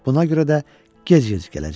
Buna görə də gec gəzəcək.